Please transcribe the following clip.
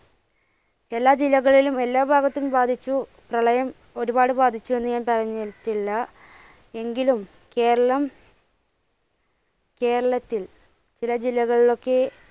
എല്ലാ ജില്ലകളിലും എല്ലാ ഭാഗത്തും ബാധിച്ചു പ്രളയം ഒരുപാട് ബാധിച്ചു എന്ന് ഞാൻ പറഞ്ഞിട്ടില്ല. എങ്കിലും കേരളം കേരളത്തിൽ ചില ജില്ലകളിലൊക്കെ